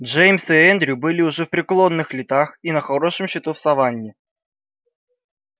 джеймс и эндрю были уже в преклонных летах и на хорошем счету в саванне